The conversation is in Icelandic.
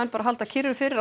bara að halda kyrru fyrir á